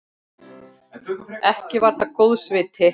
Ekki var það góðs viti.